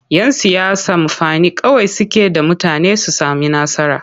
Yan siyasa mafani kawai suke da mutane su sami nasara.